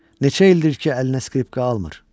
Neçə ildir ki, əlinə skripka almır.